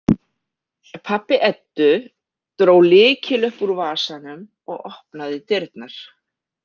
Pabbi Eddu dró lykil upp úr vasanum og opnaði dyrnar.